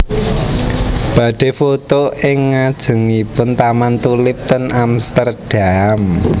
Badhe foto ing ngajengipun taman tulip ten Amsterdam